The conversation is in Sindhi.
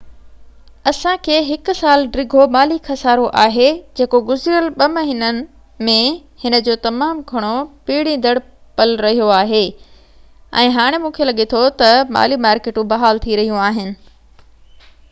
اسان کي هڪ سال ڊگهو مالي خصارو آهي جيڪو گذريل ٻہ مهينن ۾ هن جو تمام گهڻو پيڙيندڙ پل رهيو آهي ۽ هاڻي مونکي لڳي ٿو تہ مالي مارڪيٽون بحال ٿي رهيون آهن